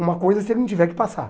uma coisa se ele não tiver que passar.